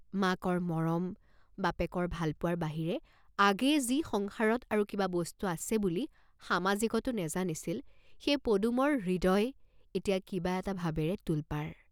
মাকৰ মৰম, বাপেকৰ ভাল পোৱাৰ বাহিৰে আগেয়ে যি সংসাৰত আৰু কিবা বস্তু আছে বুলি সমাজিকতো নেজানিছিল সেই পদুমৰ হৃদয় এতিয়া কিবা এটা ভাবেৰে তোলপাৰ।